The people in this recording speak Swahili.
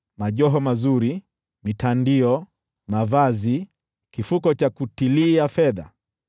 majoho mazuri, mitandio, mavazi, kifuko cha kutilia fedha,